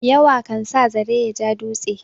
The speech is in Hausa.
Yawa kan sa zare ya ja dutse.